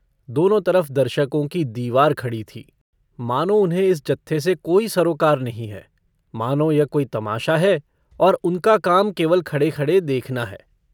दोनों तरफ दर्शकों की दीवार खड़ी थीं मानो उन्हें इस जत्थे से कोई सरोकार नहीं है मानों यह कोई तमाशा है और उनका काम केवल खड़ेखड़े देखना है।